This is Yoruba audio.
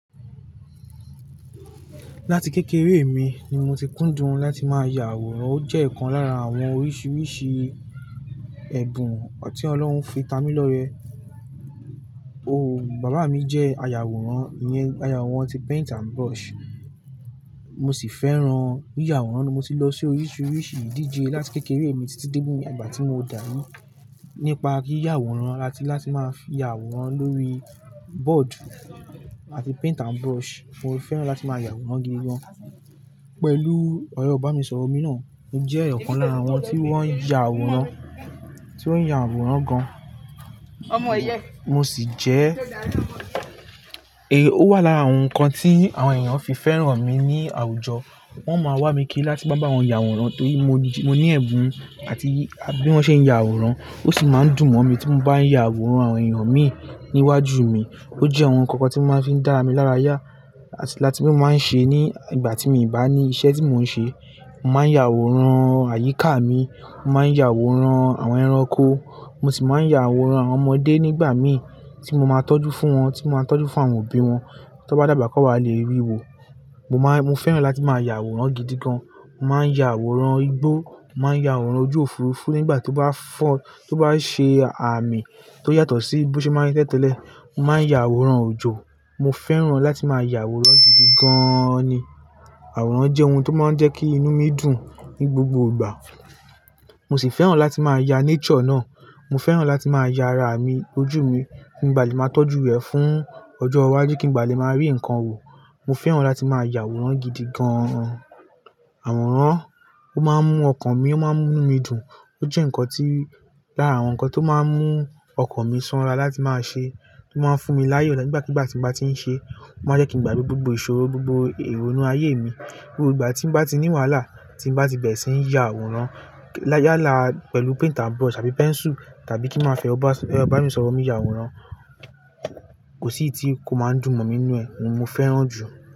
Láti kékeré mi ni mo ti kúndùn láti máa ya àwòrán. Ó jẹ́ ọ̀kan lára àwọn oríṣiríṣi ẹ̀bùn tí Ọlọ́run fi ta mí lọ rẹ. Bàbá mi jẹ́ aya àwòrán, aya àwòrán ti paint and brush. Mo sì fẹ́ran yíya àwòrán ni mo ti lọ sí oríṣiríṣi ìdíje láti kékeré mi títí dé ìgbà tí mo dàbí. Nípa yíya àwòrán àti láti máa fi ya àwòrán lórí board àti paint and brush. Mo fẹ́ràn láti máa ya àwòrán gidi gan. Pẹ̀lú ẹ́rọ ibanisọ̀rọ̀ mi náà, ó jẹ́ ọ̀kan lára àwọn tí wọ́n ń ya àwòrán, tí ó ń ya àwòrán gan. Mo sì jẹ́, è, ó wà lára àwọn nǹkan tí àwọn ènìyàn fi fẹ́ran mi ní àwùjọ. Wọ́n o máa wá mi kí láti máa bá wọn ya àwòrán torí mo ní ẹ̀bùn àti bí wọ́n ṣe ń ya àwòrán, ó sì máa ń dùn mọ́ mi tí mo bá ń ya àwòrán àwọn ènìyàn mi níwájú mi. Ó jẹ́ àwọn nǹkan kan tí mo máa fi ń dára mi lára yá àti láti mó máa ń ṣe ní ìgbà tí mo bá ní iṣẹ́ tí mò ń ṣe. Mo máa ń ya àwòrán àyíká mi, mo máa ń ya àwòrán àwọn ẹranko, mo sì máa ń ya àwòrán àwọn ọmọdé nígbà mi tí mo máa ń tọ́jú fún wọn, tí mo máa ń tọ́jú fún àwọn òbí wọn. Tí wọ́n bá dàgbà kí wọ́n lè rí wo. Mo máa ń, mo fẹ́ràn láti máa ya àwòrán gidi gan. Mo máa ń ya àwòrán igbó, mo máa ń ya àwòrán ojú Òfurufú nígbà tó bá fọ́, tó bá ṣe àmì tó yàtọ̀ sí bí ó ṣe máa ń tẹ́tẹ́lẹ̀. Mo máa ń ya àwòrán òjò. Mo fẹ́ràn láti máa ya àwòrán gidi gaaan ni. Àwòrán jẹ́ ohun tó máa ń jẹ́ kí inú mi dùn ní gbogbo ìgbà. Mo sì fẹ́ràn láti máa ya nature náà. Mo fẹ́ràn láti máa ya ara mi, ojú mi. Kí nbà lè ma tọ́jú rẹ̀ fún ọjọ́ iwájú, kí n bà lè máa rí nǹkan wò. Mo fẹ́ràn láti máa ya àwòrán gidi gan-an. Àwòrán ó máa ń mú ọkàn mi, ó máa ń mú inú mi dùn. Ó jẹ́ nǹkan tí, lára àwọn nǹkan tó máa ń mú ọkàn mi sanra láti máa ṣe, tó máa ń fún mi láyọ̀ nígbàkigbà tí mo bá ti ń ṣe. Ó máa jẹ́ kí mo gbàgbé gbogbo ìṣòro, gbogbo èrò inú ayé mi. Gbogbo ìgbà tí mo bá ti ní wàhálà, tí mo bá ti bẹ̀rẹ̀ sí ń ya àwòrán yàla pẹ̀lú paint and brush tàbí pẹ́nsù tàbí kí máa fẹ́ ọba, ẹ̀rọ ibani sọ̀rọ̀ mi ya àwòrán, kò sí èyíti kò máa ń dùn mọ́ mi inú ẹ̀, òun mo fẹ́ràn jù.